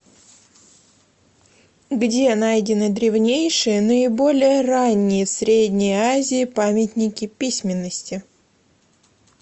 где найдены древнейшие наиболее ранние в средней азии памятники письменности